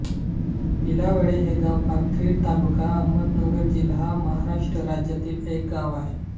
भिलावडे हे गाव पाथर्डी तालुका अहमदनगर जिल्हा महाराष्ट्र राज्यातील एक गाव आहे